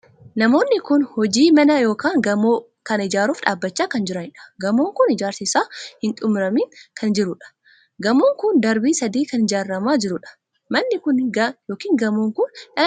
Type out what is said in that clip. Namoonni kun hojii mana ykn gamoo kan ijaaruuf dhaabbachaa kan jiraniidha. Gamoon kun ijaarsi isaa hin xumuraniin kan jirudha. Gamoon kun darbii sadii kan ijaaramaa jirudha. manni kun ykn gamoon kun dhala namaatiif faayidaa hedduu qaba.